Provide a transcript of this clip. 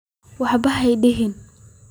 Waxba hadihin.